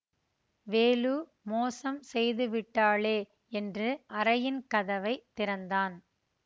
வேலு மோசம் செய்து விட்டாளே என்று அறையின் கதவை திறந்தான்